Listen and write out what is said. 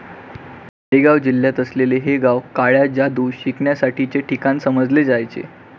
मॅरीगाव जिल्ह्यात असलेले हे गाव काळ्या जादू शिकण्यासाठीचे ठिकाण समजले जायचे.